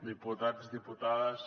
diputats diputades